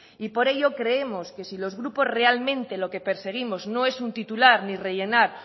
y por ello creemos que si los grupos realmente lo que perseguimos no es un titular ni rellenar